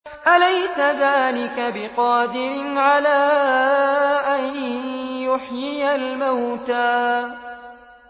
أَلَيْسَ ذَٰلِكَ بِقَادِرٍ عَلَىٰ أَن يُحْيِيَ الْمَوْتَىٰ